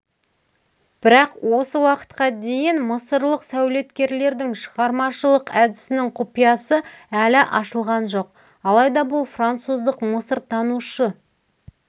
бірақ осы уақытқа дейін мысырлық сәулеткерлердің шығармашылық әдісінің құпиясы әлі ашылған жоқ алайда бұл француздық мысыртанушы